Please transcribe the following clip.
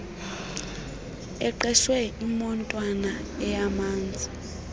eqeshe imotwana eyamsa